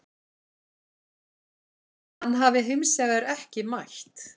Hann hafi hins vegar ekki mætt